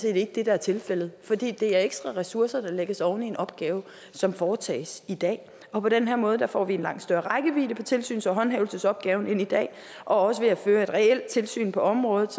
ikke det der er tilfældet fordi det er ekstra ressourcer der lægges oven i en opgave som foretages i dag på den her måde får vi en langt større rækkevidde på tilsyns og håndhævelsesopgaven end i dag og ved at føre et reelt tilsyn på området